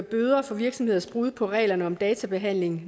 bøder for virksomheders brud på reglerne om databehandling